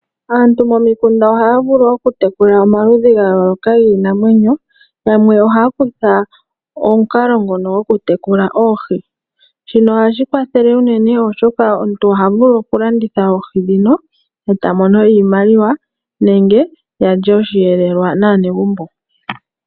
Aantu momikunda ohaya vulu okutekula omaludhi ga yooloka giinamwenyo. Yamwe ohaya kutha omukalo ngono gokutekula oohi, shino ohashi kwathele unene oshoka omuntu oha vulu okulanditha oohi dhino, e ta mono iimaliwa nenge yalye oshihelelwa naanegumbo.